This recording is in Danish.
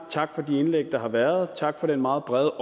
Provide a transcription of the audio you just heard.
tak for de indlæg der har været tak for den meget brede